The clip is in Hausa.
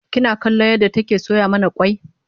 kina kallon yadda take soya mana kwai?